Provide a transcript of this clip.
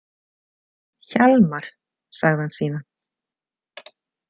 Hjalmar, sagði hann síðan.